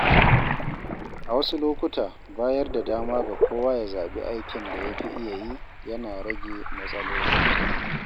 A wasu lokuta, bayar da dama ga kowa ya zaɓi aikin da ya fi iya yi yana rage matsaloli.